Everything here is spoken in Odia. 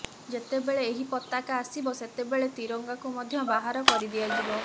ଯେତେବେଳେ ଏହି ପତାକା ଆସିବ ସେତେବେଳେ ତ୍ରିରଙ୍ଗାକୁ ମଧ୍ୟ ବାହାର କରିଦିଆଯିବ